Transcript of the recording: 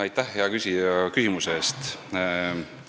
Aitäh, hea küsija, küsimuse eest!